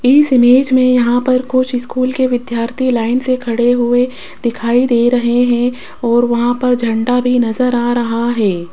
इस इमेज में यहां पर कुछ स्कूल के विद्यार्थी लाइन से खड़े हुए दिखाई दे रहे हैं और वहां पर झंडा भी नजर आ रहा है।